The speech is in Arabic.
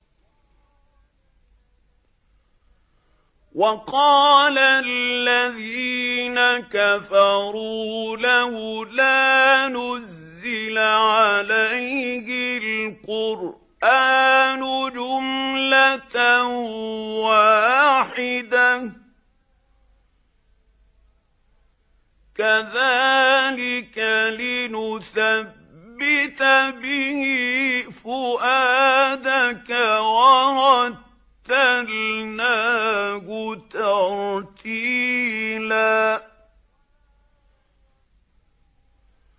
وَقَالَ الَّذِينَ كَفَرُوا لَوْلَا نُزِّلَ عَلَيْهِ الْقُرْآنُ جُمْلَةً وَاحِدَةً ۚ كَذَٰلِكَ لِنُثَبِّتَ بِهِ فُؤَادَكَ ۖ وَرَتَّلْنَاهُ تَرْتِيلًا